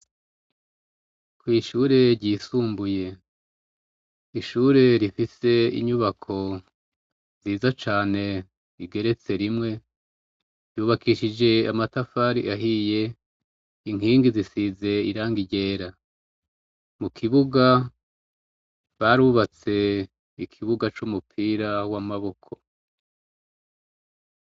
Kwishure ryisumbuye ishure rifise unyubako igeretse cane rimwe ryubakishijwe amatafari ahiye inkigi zisize irangi ryera mukibuga barubatse ikibuga cumupira wamaboko